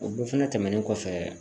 O bɛɛ fɛnɛ tɛmɛnen kɔfɛ